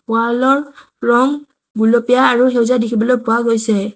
Wall ৰ ৰং গুলপীয়া আৰু সেউজীয়া দেখিবলৈ পোৱা গৈছে।